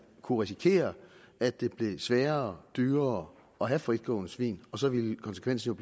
kunne risikere at det blev sværere og dyrere at have fritgående svin så ville konsekvenserne